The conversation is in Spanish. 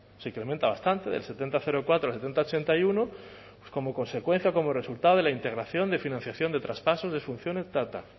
se incrementa bastante del setenta coma cuatro al setenta coma ochenta y uno pues como consecuencia como resultado de la integración de financiación de traspaso de funciones tal tal